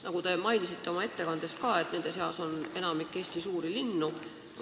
Nagu te mainisite oma ettekandes ka, nende seas on enamik Eesti suuri linnu.